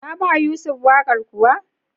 Ka ba Yusuf waƙar kuwa?